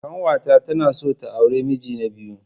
Kanwata tana son ta auri miji na biyu.